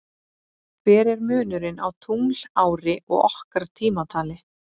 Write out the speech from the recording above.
Hver er munurinn á tunglári og okkar tímatali?